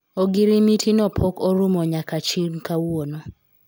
ogorimiti no pok orumo nyaka chil kawuono